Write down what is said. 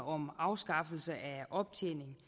om afskaffelse af optjening